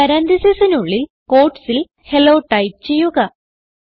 parenthesisനുള്ളിൽ quotesൽ hello type ചെയ്യുക